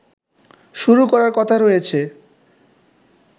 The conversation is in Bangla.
শুরু করার কথা রয়েছে